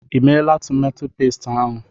I meela tomato pesti ahụ?